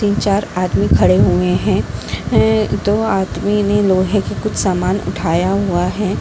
तीन चार आदमी खड़े हुए हैं हैं | दो आदमी ने लोहे के कुछ समान उठाया हुआ है ।